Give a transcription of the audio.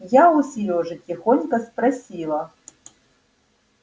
я у серёжи тихонько спросила